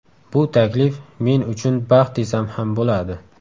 Bu taklif men uchun baxt desam ham bo‘ladi.